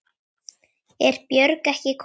Er Björn ekki kominn?